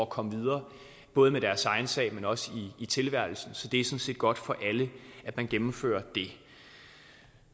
komme videre både med deres egen sag men også i tilværelsen så det er sådan set godt for alle at man gennemfører det